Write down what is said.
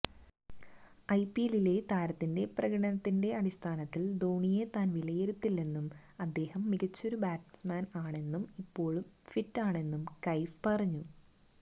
ഐപിഎല്ലിലെ താരത്തിന്റെ പ്രകടനത്തിന്റെ അടിസ്ഥാനത്തിൽ ധോണിയെ താൻ വിലയിരുത്തില്ലെന്നും അദ്ദേഹം മികച്ചൊരു ബാറ്റ്സ്മാനാണെന്നും ഇപ്പോൾ ഫിറ്റാണെന്നും കൈഫ് പറഞ്ഞു